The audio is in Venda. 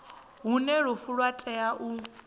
hune lufu lwa tea u